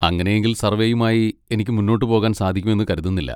അങ്ങനെയെങ്കിൽ സർവ്വേയുമായി എനിക്ക് മുന്നോട്ടുപോകാൻ സാധിക്കുമെന്ന് കരുതുന്നില്ല.